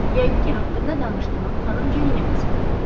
Yəqin ki, haqqında danışdığın xanım Jenny-nin qızıdır.